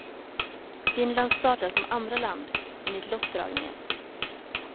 Finland startar som andra land, enligt lottdragningen.